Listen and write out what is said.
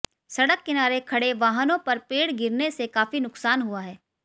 सड़क किनारे खड़े वाहनों पर पेड़ गिरने से काफी नुकसान हुआ है